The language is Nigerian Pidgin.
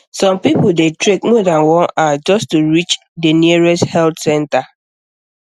some people dey trek more than one hour just to reach the nearest health center